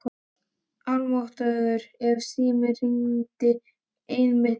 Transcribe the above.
Almáttugur ef síminn hringdi einmitt núna.